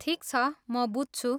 ठिक छ, म बुझ्छु।